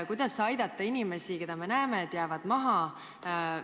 Kuidas aidata inimesi, kes, me näeme, et jäävad maha?